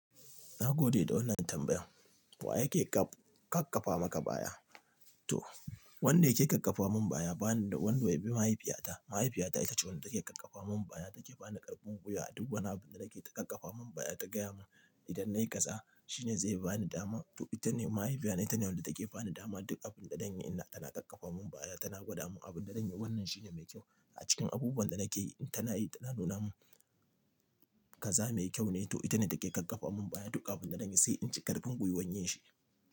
Na gode da wannan tambayan. Wa yake kakkafa maka baya? Toh wanda yake kakkafa min baya bana da wanda ya bi mahaifiyata. Mahaifiyata ita ce wanda take kakkafa min baya take bani karfin gwiya a duk wani abu da nake ta kakkafa min baya ta gaya mun idan na yi kaza shine zai bani dama. Toh ita ne mahaifiyana ita ne wanda take bani dama duk abun da zan yi ina tana kakkafa mun baya tana gwada mun abun da zan yi wannan shine mai kyau a cikin abubuwan da nake yi tana yi tana nuna mun kaza mai kyau ne toh ita ne take kakkafa mun baya duk abun da zan yi sai in ji karfin gwiwan yin shi.